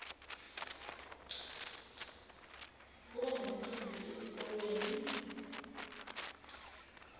kuba nemicimbi etikolweni